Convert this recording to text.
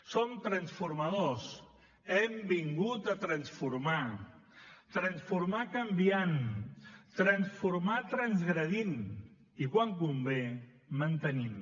som transformadors hem vingut a transformar transformar canviant transformar transgredint i quan convé mantenim